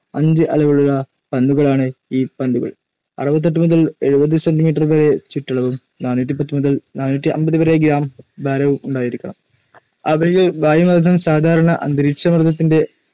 അഞ്ച് അളവിലുള്ള പന്തുകളാണ്. ഈ പന്തുകൾക്ക് അറുപത്തിയെട്ട് മുതൽ എഴുപത് സെ. മീ വരെ ചുറ്റളവും നാന്നൂറ്റിപ്പത്തു മുതൽ നാന്നൂറ്റിഅമ്പത് വരെ ഗ്രാം ഭാരവും ഉണ്ടായിരിക്കണം. അവയിലെ വായുമർദ്ദം സാധാരണ അന്തരീകഷമർദ്ദത്തിന്റെ